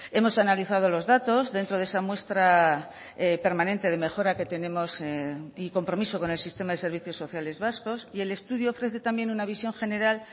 hemos analizado los datos dentro de esa muestra permanente de mejora que tenemos y compromiso con el sistema de servicios sociales vascos y el estudio ofrece también una visión general